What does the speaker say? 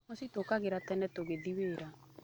Mũciĩ tũkĩraga tene tũgĩthiĩ wĩra.